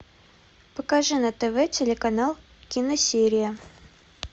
покажи на тв телеканал киносерия